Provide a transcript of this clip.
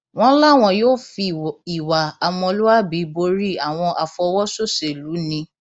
wọn láwọn yóò fi ìwà ọmọlúàbí borí àwọn àfọwọsòṣèlú ni